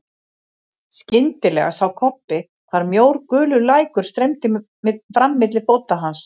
Skyndilega sá Kobbi hvar mjór gulur lækur streymdi fram milli fóta hans.